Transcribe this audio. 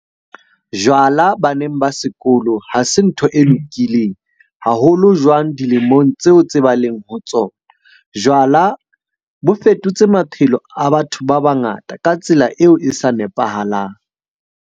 Jwala baneng ba sekolo ha se ntho e lokileng, haholo jwang dilemong tseo tse ba leng ho tsona. Jwala bo fetotse maphelo a batho ba bangata ka tsela eo e sa nepahalang.